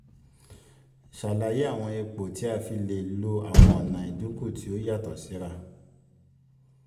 ṣàlàyé àwọn ipò tí a fi lè lo àwọn ọ̀nà ìdínkù tí ó yàtọ̀ síra.